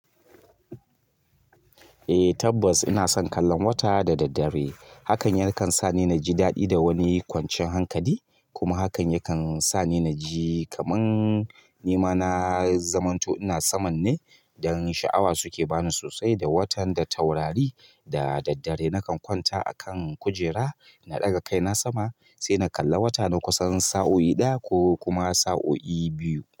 Eh tabbas ina son kallon wata da daddare. Hakan yakan sa ni naji daɗi da wani kwanciyan hankali kuma hakan yakan sa ni naji kamar ni ma na zamanto ina saman ne. Dan sha'awa suke bani sosai da watan da taurari da daddare nakan kwanta a kan kujera na ɗaga kaina sama sai na kalla wata na kusan sa'o'i ɗaya ko kuma sa'o'i biyu.